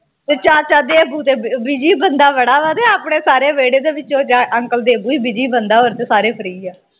ਤੇ ਚਾਚਾ ਦੇਬੂ ਤੇ busy ਬੰਦਾ ਬੜਾ ਵਾ ਤੇ ਆਪਣੇ ਸਾਰੇ ਵੇਹੜੇ ਦੇ ਵਿੱਚੋ uncle ਦੇਬੂ ਈ busy ਬੰਦਾ ਆ ਹੋਰ ਤੇ ਸਾਰੇ free ਆ